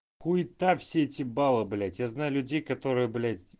хуета все эти баллы блять я знаю людей которые блядь